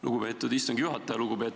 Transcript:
Lugupeetud istungi juhataja!